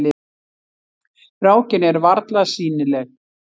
Rákin er varla sýnileg.